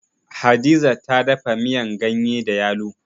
Hadiza ta dafa miyan ganye da yalo.